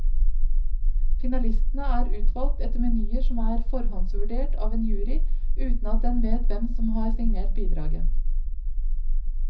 Finalistene er utvalgt etter menyer som er forhåndsvurdert av en jury, uten at den vet hvem som har signert bidraget.